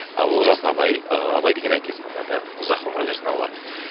олжас абай ыыы абай деген әкесінің аты ұзақ ғұмыр берсін алла